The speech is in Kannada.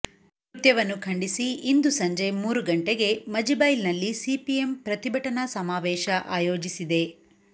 ಕೃತ್ಯವನ್ನು ಖಂಡಿಸಿ ಇಂದು ಸಂಜೆ ಮೂರು ಗಂಟೆಗೆ ಮಜಿಬೈಲ್ ನಲ್ಲಿ ಸಿಪಿಎಂ ಪ್ರತಿಭಟನಾ ಸಮಾವೇಶ ಆಯೋಜಿಸಿದೆ